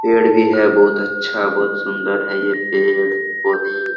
पेड़ भी है बहुत अच्छा बहुत सुंदर है ये पेड़ पौधे।